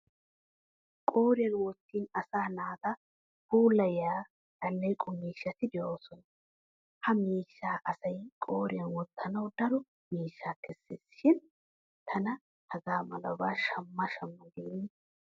Qooriyan wottin asa naata puulayiya alleeqo miishshati de'oosona. Ha miishshaa asay qooriyan wottanawu daro miishshaa kesses shin tana tuma hagaa malaba shammana shamma geennan.